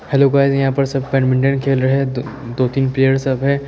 Hello guys यहाँ पे सब बैडमिंटन खेल रहे हैं दो तीन प्लेयर सब हैं।